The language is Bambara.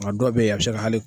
A dɔw bɛ yen a bɛ se ka hali.